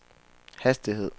hastighed